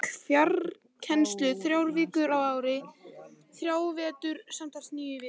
Hún fékk farkennslu þrjár vikur á ári í þrjá vetur, samtals níu vikur.